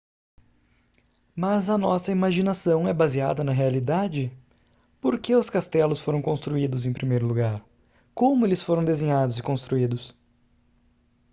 mas a nossa imaginação é baseada na realidade por que os castelos foram construídos em primeiro lugar como eles foram desenhados e construídos